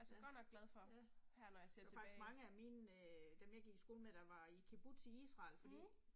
Ja, ja. Der var faktisk mange af mine øh dem jeg gik i skole med der var i kibbutz i Israel fordi